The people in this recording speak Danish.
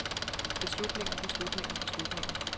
beslutninger beslutninger beslutninger